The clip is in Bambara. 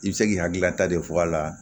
I bɛ se k'i hakililata de fɔ a la